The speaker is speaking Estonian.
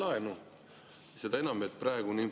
Ma saan muidugi aru, et raha kokku kraapida, see on üks.